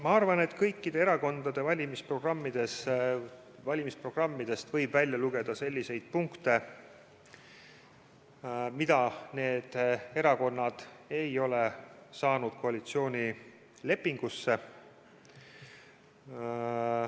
Ma arvan, et kõikide erakondade valimisprogrammidest võib lugeda selliseid punkte, mida need erakonnad ei ole saanud panna koalitsioonilepingusse.